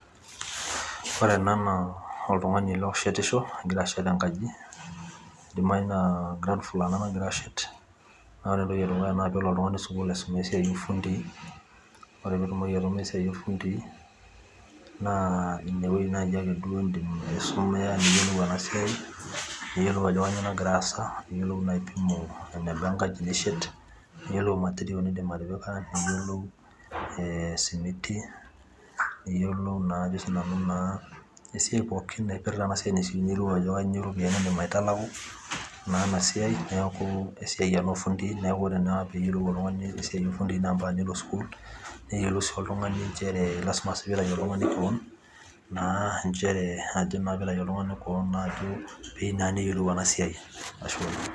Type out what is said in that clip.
ore ena naa oltungani oshe tisho ogira ashet engaji keidimayu naa ground floor ena nagira ashet naa ore entoki edukuya naa pee elo oltungani sukul alo asuma esiai oo irfundii ore peetumoki oltungani esiai oo irfundii, naa ine weji duo naaji ake iso meya niyiolou enasiai ajo kanyioo nagira asa niiyielou naa apimo engaji eneba enishet, niyiolou material enaba osimiti niyiolou esiai pooki napirta enasiai ,niyiolou ajo kebaa iro piyiani nintalaku naa ena siai neeku esiai ena oo irfundii naa ompaka nelo oltungani sukul pee eyiolou.